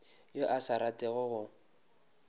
yo a sa ratego go